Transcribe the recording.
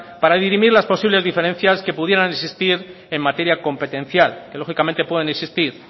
para dirimir la posibles diferencias que pudieran existir en materia competencial que lógicamente pueden existir